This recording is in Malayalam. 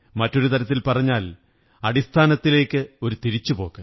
മറ്റൊരു തരത്തിൽ പറഞ്ഞാൽ അടിസ്ഥാനത്തിലേക്കൊരു തിരിച്ചുപോക്ക്